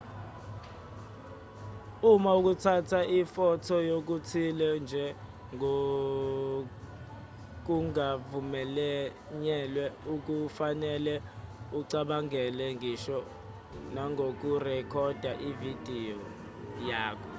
uma ukuthatha ifotho yokuthile nje kungavunyelwe akufanele ucabange ngisho nangokurekhoda ividiyo yakho